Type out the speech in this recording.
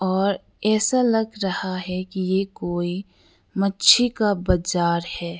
और ऐसा लग रहा है कि ये कोई मच्छी का बाजार है।